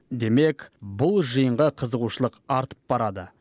демек бұл жиынға қызығушылық артып барады